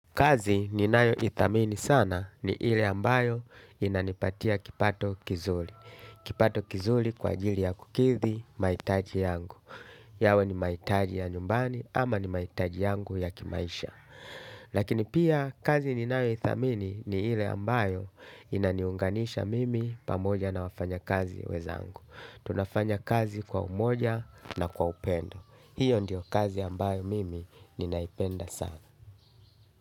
Kazi ni nayo ithamini sana ni hile ambayo inanipatia kipato kizuli. Kipato kizuli kwa jili ya kukithi, maitaji yangu. Yawe ni maitaji ya nyumbani ama ni maitaji yangu ya kimaisha. Lakini pia, kazi ni nayo ithamini ni hile ambayo inaniunganisha mimi pamoja na wafanya kazi wezangu. Tunafanya kazi kwa umoja na kwa upendo. Hiyo ndio kazi ambayo mimi ninaipenda sana.